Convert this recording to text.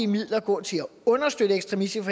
midler gå til at understøtte ekstremistiske